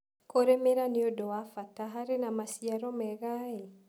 Kũrĩmĩra nĩũndũ wa bata harĩ maciaro mega.ĩ